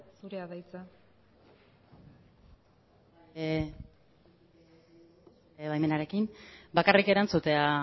zurea da hitza baimenarekin bakarrik erantzutea